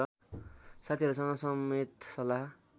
साथीहरूसँग समेत सल्लाह